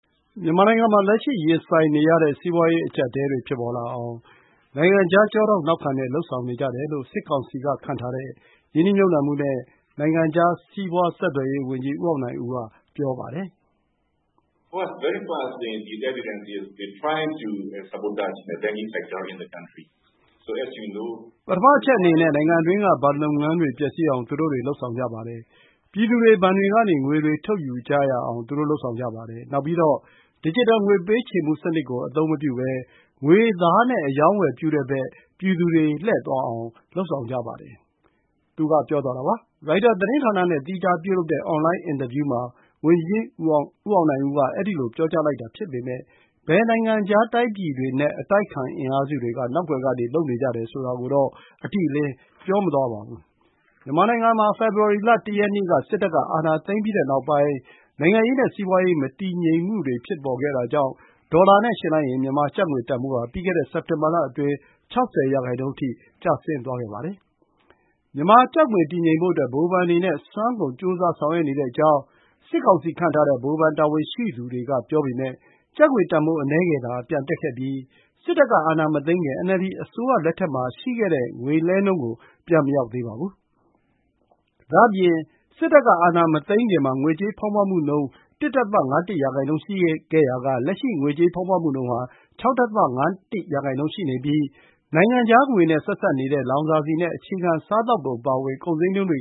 မြန်မာနိုင်ငံမှာ လက်ရှိရင်ဆိုင်နေရတဲ့ စီးပွားရေးအကြပ်အတည်းတွေ ဖြစ်ပေါ်လာအောင် နိုင်ငံခြားတိုင်းပြည်တွေက ကျောထောက်နောက်ခံပြုပြီး လုပ်ဆောင်နေကြတယ်လို့ စစ်ကောင်စီက ခန့်ထားတဲ့ ရင်းနှီးမြှုပ်နှံမှုနဲ့ နိုင်ငံခြား စီးပွားဆက်သွယ်ရေးဝန်ကြီး ဦးအောင်နိုင်ဦးက ပြောပါတယ်။ “ပထမအချက်အနေနဲ့ နိုင်ငံအတွင်းက ဘဏ်လုပ်ငန်းတွေပျက်စီးအောင် သူတို့တွေ လုပ်ဆောင်ကြပါတယ်။ ပြည်သူတွေ ဘဏ်တွေကနေ ငွေတွေထုတ်ယူကြအောင် သူတို့ လုပ်ဆောင်ကြပါတယ်။ နောက်ပြီးတော့ Digital ငွေပေးချေမှုစံနစ်ကို အသုံးမပြုဘဲ ငွေသားနဲ့ အရောင်းအဝယ်ပြုတဲ့ဘက် ပြည်သူတွေ လှည့်သွားအောင် လုပ်ဆောင်ကြပါတယ်။” ရိုက်တာသတင်းဌာနနဲ့ သီးခြားပြုလုပ်တဲ့ အွန်လိုင်း မေးမြန်းမှုအတွင်း ဝန်ကြီး ဦးအောင်နိုင်ဦးက အဲဒီလို ပြောကြားလိုက်တာဖြစ်ပေမယ့် ဘယ်နိုင်ငံခြားတိုင်းပြည်တွေနဲ့ အတိုက်အခံ အင်အားစုတွေက နောက်ကွယ်ကနေ လုပ်နေကြတယ်ဆိုတာကိုတော့ အတိအလင်း ပြောဆိုခြင်း မရှိပါဘူး။ မြန်မာနိုင်ငံမှာ ဖေဖော်ဝါရီလ ၁ ရက်နေ့က စစ်တပ်က အာဏာသိမ်းပြီးတဲ့နောက်ပိုင်း နိုင်ငံရေးနဲ့ စီးပွားရေး မတည်ငြိမ်မှုတွေ ဖြစ်ပေါ်ခဲ့တာကြောင့် ဒေါ်လာနဲ့ယှဉ်လိုက်ရင် မြန်မာကျပ်ငွေတန်ဖိုးဟာ ပြီးခဲ့တဲ့ စက်တင်ဘာလအတွင်း ၆၀% အထိ ကျသွားခဲ့ပါတယ်။ မြန်မာကျပ်ငွေတည်ငြိမ်ဖို့ အတွက် ဗဟိုဘဏ်အနေနဲ့ အစွမ်းကုန် ကြိုးစားဆောင်ရွက်နေကြောင်း စစ်ကောင်စီခန့်ထားတဲ့ ဗဟိုဘဏ် တာဝန်ရှိသူတွေ ပြောပေမယ့် ကျပ်ငွေတန်ဖိုး အနည်းငယ်သာ ပြန်တက်ခဲ့ပြီး စစ်တပ် က အာဏာမသိမ်းခင် NLD အစိုးရလက်ထက်မှာ ရှိခဲ့တဲ့ ငွေလှဲနှုန်းကို ပြန်မရောက်သေးပါဘူး။ ဒါ့အပြင် စစ်တပ်ကအာဏာမသိမ်းခင်မှာ ငွေကြေးဖောင်းပွမှုနှုန်း ၁.၅၁% ရှိခဲ့ရာက လက်ရှိ ငွေကြေးဖောင်းပွမှုနှုန်းဟာ ၆.၅၁% ရှိနေပြီး လောင်စာဆီနဲ့ အခြေခံစားသောက်ကုန်အပါအဝင် ကုန်ဈေးနှုန်းတွေ